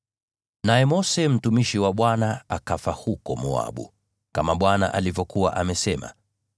Naye Mose mtumishi wa Bwana akafa huko Moabu, kama Bwana alivyokuwa amesema.